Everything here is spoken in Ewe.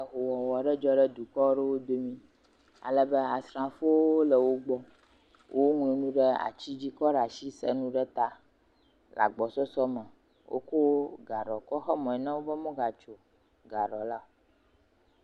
Ehowɔwɔ ɖe dzɔ ɖe dukɔ aɖewo dome alebe asrafowo le wo gbɔ, woŋlɔnuwo ɖe ati dzi kɔ ɖe as isa nu ɖe ta le agbɔsɔsɔ me, wokɔ gaɖɔ xe mɔ na wo bɔ womegadzo o. Gaɖɔ la.